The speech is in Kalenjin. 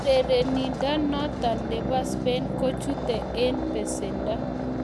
Urerenindonoton nebo Spain kochute en besendo.